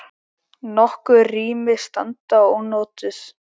Nokkur rými standa ónotuð.